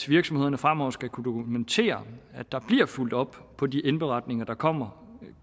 virksomhederne fremover skal kunne dokumentere at der bliver fulgt op på de indberetninger der kommer